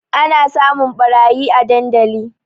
Ana samun ɓarayi a dandali